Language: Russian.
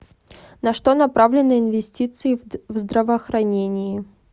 на что направлены инвестиции в здравоохранении